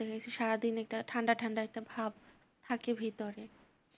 সারাদিন একটা ঠান্ডা ঠান্ডা একটা ভাব থাকে ভিতরে